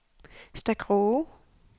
Stakroge